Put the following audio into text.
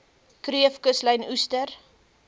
kreef kuslyn oester